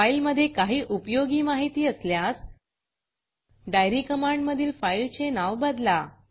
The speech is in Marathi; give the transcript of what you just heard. फाईलमधे काही उपयोगी माहिती असल्यास diaryडाइयरी कमांडमधील फाईलचे नाव बदला